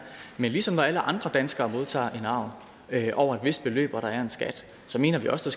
men ligesom alle andre danskere modtager en arv over et vist beløb så mener vi også